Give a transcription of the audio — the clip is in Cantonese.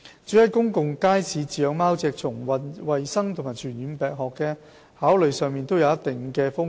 至於在公共街市飼養貓隻，從衞生及傳染病學的考慮上都有一定的風險。